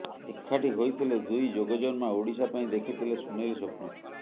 ଏକାଠି ହୋଇଥିଲେ ଦୁଇ ଯୋଗଜନ୍ମା ଓଡ଼ିଶା ପାଇଁ ଦେଖିଥିଲେ ସୁନେଲୀ ସ୍ୱପ୍ନ